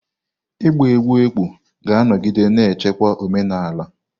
Ịgba egwú ekpo ga-anọgide na-echekwa omenala.